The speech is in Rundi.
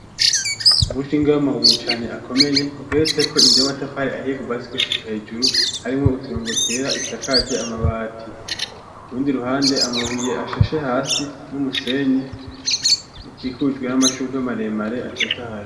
Umushinge w'amabuye cane akomeye ugeretse ko indu y'amatafari ahiye kuvasi gushika hejuru harimwo uturo ngo twera isakaje amabati kubundi ruhande amabuye ashashe hasi n'umusenyi ukikujwe n'amashubwe maremare atotahaye.